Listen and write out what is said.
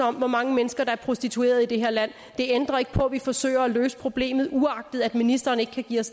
om hvor mange mennesker der er prostituerede i det her land vi forsøger at løse problemet uagtet at ministeren ikke kan give os